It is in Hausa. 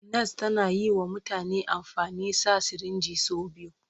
Nas tana yi wa mutane amfani sa sirinji sau biyu.